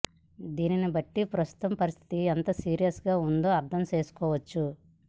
దీనిని బట్టి ప్రస్తుతం పరిస్థితి ఎంత సీరియస్ గా ఉందో అర్థంచేసుకోవచ్చు